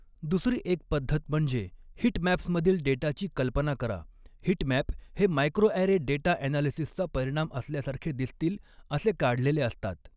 दुसरी एक पद्धत म्हणजे हिटमॅप्समधील डेटाची कल्पना करा हिटमॅप हे मायक्रोॲरे डेटा ॲनालिसिसचा परिणाम असल्यासारखे दिसतील असे काढलेले असतात.